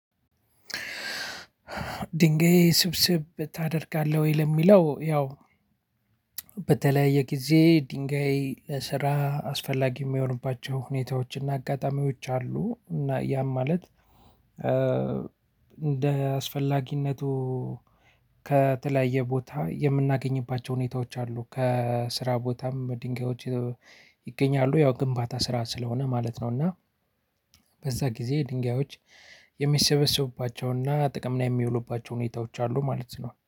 ድንጋይ ስብስብ ታደርጋለህ? ወይ ለምለው ያው በተለያየ ጊዜ ድንጋይ ለስራ አስፈላጊ የሚሆንባቸው ሁኔታዎች እና አጋጣሚዎች አሉ። እና ያም ማለት እንደ አስፈላጊነቱ ከተለያየ ቦታ የምናገኝባቸው ሁኔታዎች አሉ። ከስራ ቦታም ድንጋዮች ይገኛሉ። ያው ግንባታ ስራ ስለሆነ ማለት ነው። እና በዛ ጊዜ ድንጋዮች የሚሰበሰቡባቸውና ጥቅም የሚያውሉባቸው ሁኔታዎች አሉ ማለት ነው